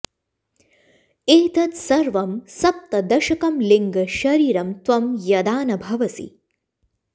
एतत् सर्वं सप्तदशकं लिङ्गशरीरं त्वं यदा न भवसि